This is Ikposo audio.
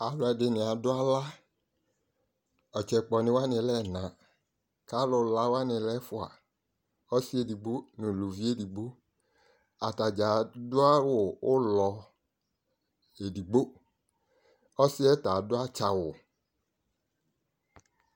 Aluɛdini adu ala ɔtsɛ kpɔ ni wani alɛ ɛna ku alu la wani lɛ ɛfua ɔsi edigbo nu uluvi edigbo atadza adu awu ulɔ edigbo ɔsiɛ ɔta adu atsawu